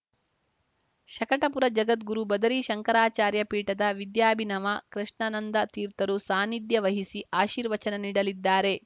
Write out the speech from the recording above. ಶಕಟಪುರ ಜಗದ್ಗುರು ಬದರೀ ಶಂಕರಾಚಾರ್ಯ ಪೀಠದ ವಿದ್ಯಾಭಿನವ ಕೃಷ್ಣಾನಂದತೀರ್ಥರು ಸಾನ್ನಿಧ್ಯ ವಹಿಸಿ ಆಶೀರ್ವಚನ ನೀಡಲಿದ್ದಾರೆ